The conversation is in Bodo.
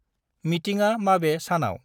मिटिंआ माबे सानाव?